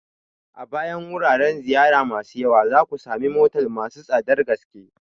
A bayan wuraren ziyara masu yawa, za ku sami motel masu tsadar gaske.